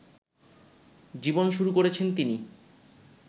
জীবন শুরু করেছেন তিনি